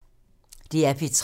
DR P3